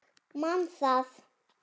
Man það.